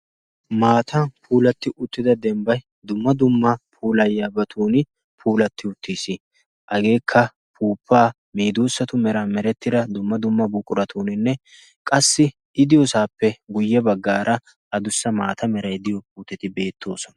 maatan puulatti uttida dembbay dumma dumma puulayyaabatun puulatti uttiis hageekka puuppaa medoossatu mera merettira dumma dumma buquratuuninne qassi i diyoosaappe guyye baggaara adussa maata meray diyo uuttati beettoosona